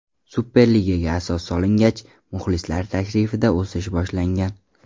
Superligaga asos solingach, muxlislar tashrifida o‘sish boshlangan.